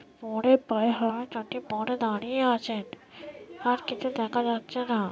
পরে পায়ে হাওয়াচটি পরে দাঁড়িয়ে আছে আর কিছু দেখা যাচ্ছে না|